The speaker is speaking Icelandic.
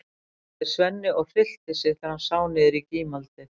sagði Svenni og hryllti sig þegar hann sá niður í gímaldið.